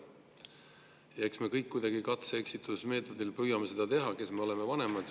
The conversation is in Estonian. Eks me kõik, kes me oleme vanemad, kuidagi katse- ja eksitusmeetodil püüame seda teha.